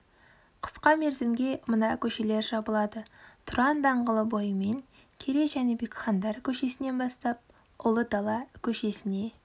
қысқа мерзімге мына көшелер жабылады тұран даңғылы бойымен керей жәнібек хандар көшесінен бастап ұлы дала көшесіне